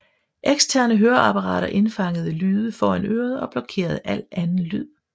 Eksterne høreapparater indfangede lyde foran øret og blokerede al anden lyd